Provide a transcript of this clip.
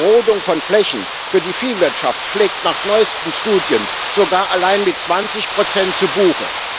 Die Rodung von Flächen für die Viehwirtschaft schlägt nach neuesten Studien sogar allein mit 20 zu Buche.